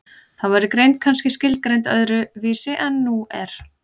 þá væri greind kannski skilgreind öðru vísi en nú er